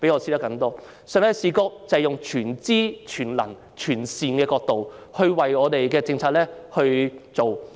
上帝的視覺就是以全知、全能和全善的角度來制訂政策。